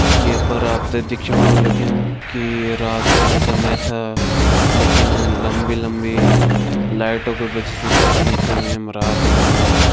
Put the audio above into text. ये पर आपते दिख्योण होलु लग्युं की रात को समय छा लेकिन लम्बी लम्बी लाइटो का वजह सी पता नहीं चलणु येमा रात होणी।